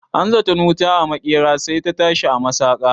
Ana zaton wuta a maƙera, sai ta tashi a masaƙa.